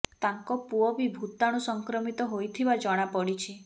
ତାଙ୍କ ପୁଅ ବି ଭୂତାଣୁ ସଂକ୍ରମିତ ହୋଇଥିବା ଜଣା ପଡ଼ିଛି